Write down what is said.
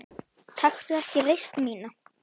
Taktu ekki reisn mína.